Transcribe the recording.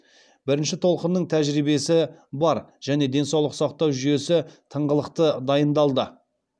бірінші толқынның тәжірибесі бар және денсаулық сақтау жүйесі тыңғылықты дайындалды